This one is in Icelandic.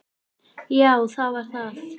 Já það var það.